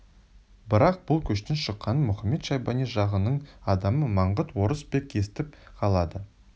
бірақ бұл көштің шыққанын мұхамед-шайбани жағының адамы маңғыт орыс бек естіп қалады